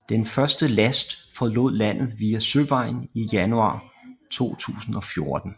Den første last forlod landet via søvejen i januar 2014